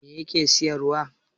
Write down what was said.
me yake siyarwa